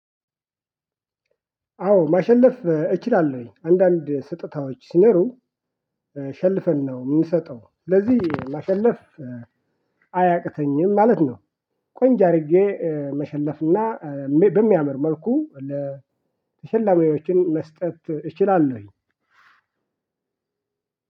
አዎ ማሸለፍ እችላለሁኝ አንዳንድ ስጦታዎች ሲኖሩ ሸልፈን ነው የምንሰጠው ለዚህ ማሸለፍ አያቅተኝም ማለት ነው። ቆንጆ አድርጌ መሸለፍና በሚያመር መልኩ ለተሸላሚዎችም መስጠት እችላለሁኝ።